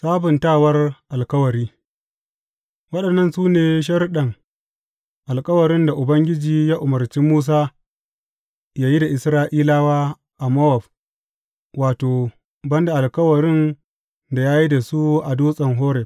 Sabuntawar alkawari Waɗannan su ne sharuɗan alkawarin da Ubangiji ya umarci Musa yă yi da Isra’ilawa a Mowab, wato, ban da alkawarin da ya yi da su a Dutsen Horeb.